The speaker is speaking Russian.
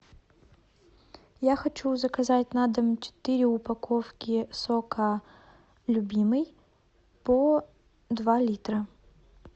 я хочу заказать на дом четыре упаковки сока любимый по два литра